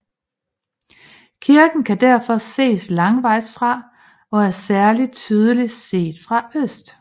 Kirken kan derfor ses langvejs fra og er særlig tydelig set fra øst